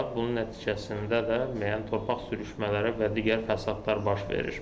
Bunun nəticəsində də müəyyən torpaq sürüşmələri və digər fəsadlar baş verir.